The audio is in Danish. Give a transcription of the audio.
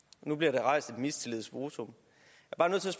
nu bliver der rejst et mistillidsvotum